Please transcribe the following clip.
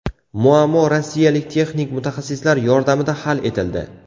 Muammo rossiyalik texnik mutaxassislar yordamida hal etildi.